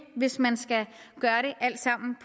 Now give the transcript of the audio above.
hvis man skal gøre det alt sammen med